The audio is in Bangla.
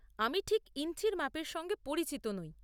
আমি ঠিক ইঞ্চির মাপের সঙ্গে পরিচিত নই।